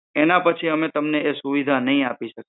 એના પછી અમે તમને એ સુવિધા નહિ આપી શકીયે